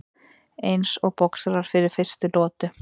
Eins og boxarar fyrir fyrstu lotu.